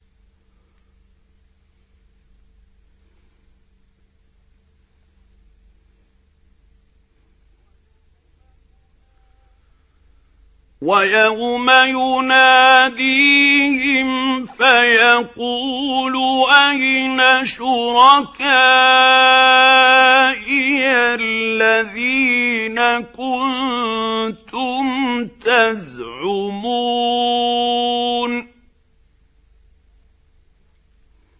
وَيَوْمَ يُنَادِيهِمْ فَيَقُولُ أَيْنَ شُرَكَائِيَ الَّذِينَ كُنتُمْ تَزْعُمُونَ